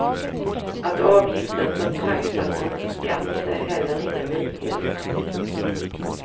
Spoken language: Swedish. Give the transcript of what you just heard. Att avgiften betraktas som en skatt är heller ingen nyhet.